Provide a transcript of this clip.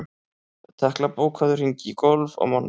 Tekla, bókaðu hring í golf á mánudaginn.